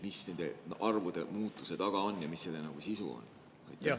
Mis nende arvude muutuse taga on ja mis selle sisu on?